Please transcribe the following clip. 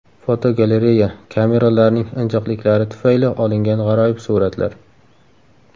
Fotogalereya: Kameralarning injiqliklari tufayli olingan g‘aroyib suratlar.